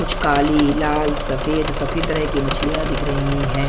कुछ काली लाल सफेद सभी तरह की मछलियां दिख रही है।